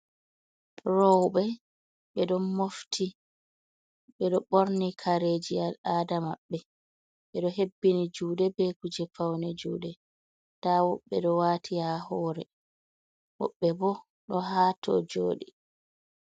Rowɓe ɓeɗo mofti ɓeɗo ɓorni kareji al aada maɓɓe, ɓeɗo hebbini juɗe be kuje faune juɗe, da woɓɓe ɗo waati ha hore woɓbe bo ɗo hato joɗi.